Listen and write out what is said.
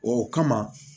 O kama